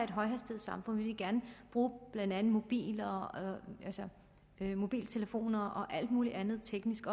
bruge blandt andet mobiltelefoner og alt muligt andet teknisk